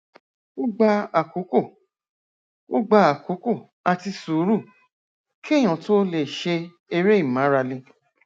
ó gba àkókò ó gba àkókò àti sùúrù kéèyàn tó lè ṣe eré ìmárale